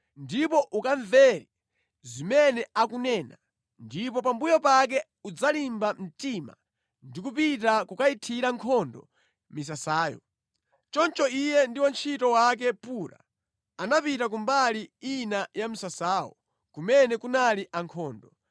ndipo ukamvere zimene akunena ndipo pambuyo pake udzalimba mtima ndi kupita kukayithira nkhondo misasayo.” Choncho iye ndi wantchito wake Pura anapita kumbali ina ya msasawo kumene kunali ankhondo.